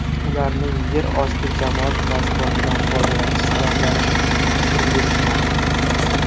Ularning yer osti jamoat transportidan foydalanishi sabablari turli-tuman.